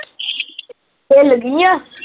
ਹਿੱਲ ਗਈ ਆ?